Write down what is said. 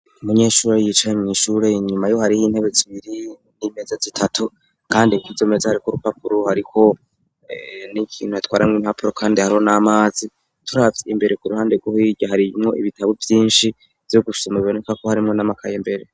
Umunyeshuri yicaye mw'ishure, inyuma yiwe hariho intebe zibiri n'imeza zitatu kandi kw'izo meza hariko urupapuro hariko n'ikintu batwaramwo impapuro kandi hariho n'amazi. Turavye imbere ku ruhande rwo hirya harimwo ibitabo vyinshi vyo gusoma biboneka ko harimwo n'amakaye imbere.